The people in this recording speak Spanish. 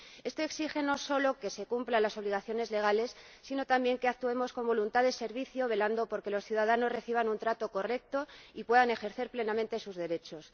Esto exige no solo que se cumplan las obligaciones legales, sino también que actuemos con voluntad de servicio velando por que los ciudadanos reciban un trato correcto y puedan ejercer plenamente sus derechos.